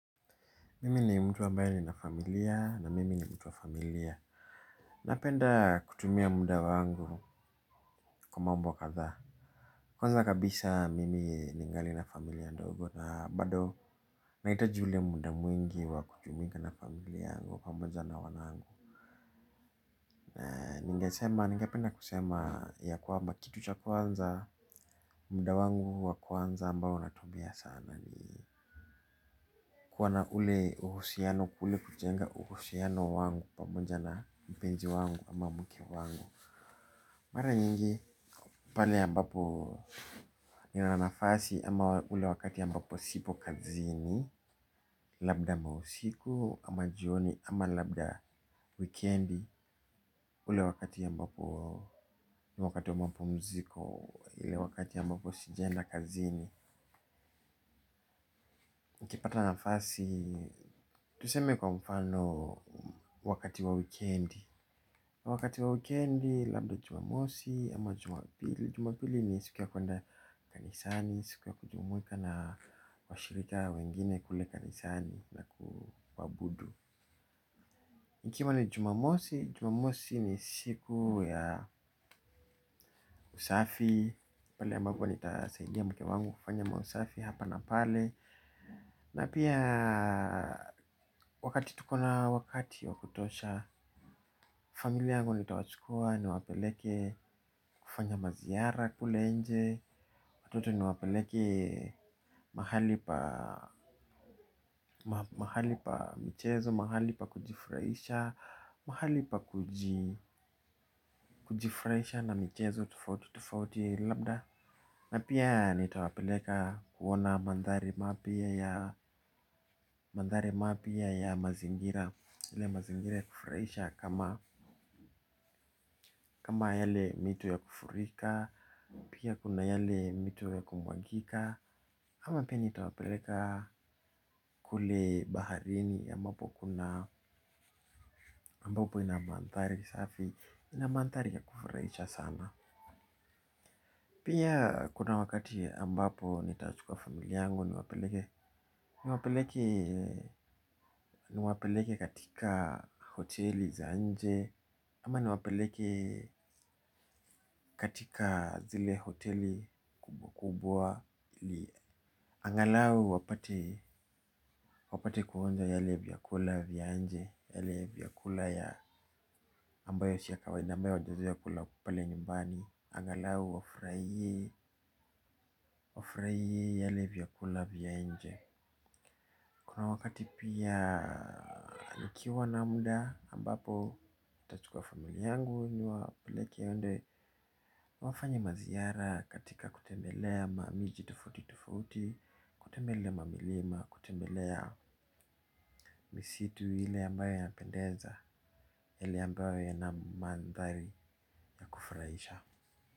Mimi ni mtu ambaye nina familia na mimi ni mtu wa familia. Napenda kutumia muda wangu kwa mambo wa kadhaa. Kwanza kabisa mimi ningali na familia ndogo na bado nahitaji ule muda mwingi wa kujumuika na familia yangu pamoja na wanangu. Ningesema, ningependa kusema ya kwamba kitu cha kwanza. Muda wangu wa kwanza ambao natumia sana ni kuwa na ule uhusiano kule kujenga uhusiano wangu pamoja na mpenzi wangu ama mke wangu. Mara nyingi pale ambapo nina nafasi ama ule wakati ambapo sipo kazini. Labda mausiku ama jioni ama labda wikendi ule wakati ambapo wakati ambapo mwezi iko ile wakati ambapo sijaenda kazini nikipata nafasi, tuseme kwa mfano wakati wa wikendi. Wakati wa wikendi, labda jumamosi ama jumapili Jumapili ni siku ya kuenda kanisani, siku ya kujumuika na washirika wengine kule kanisani na kuabudu. Ikiwa ni jumamosi, jumamosi ni siku ya usafi. Pale ambapo nitasaidia mke wangu kufanya mausafi hapa na pale na pia wakati tuko na wakati wa kutosha, familia yangu nitawachukua niwapeleke kufanya maziara kule nje. Watoto niwapeleke mahali mahali pa michezo mahali pa kujifurahisha mahali pa kujifurahisha na michezo tofauti tofauti labda na pia nitawapeleka kuona mandhari mapya ya mazingira ile mazingira ya kufurahisha kama kama yale mito ya kufurika. Pia kuna yale mito ya kumwagika ama pia nitawapeleka kule baharini ambapo kuna ambapo ina mandhari safi. Ina mandhari ya kufurahisha sana. Pia kuna wakati ambapo nitachukua familia yangu niwapeleke. Niwapeleke katika hoteli za nje ama niwapeleke katika zile hoteli kubwa kubwa. Angalau wapate kuonja yale vyakula vya nje yale vyakula ya ambayo si ya kawaida ambayo hawajazoea kula pale nyumbani. Angalau wafurahie yale vyakula vya nje. Kuna wakati pia nikiwa na muda ambapo ntachukua familia yangu niwapeleke waende wafanye maziara katika kutembelea ma miji tofauti tofauti, kutembelea mamilima, kutembelea misitu ile ambayo yanapendeza, ile ambayo yana mandhari ya kufurahisha.